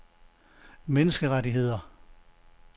menneskerettigheder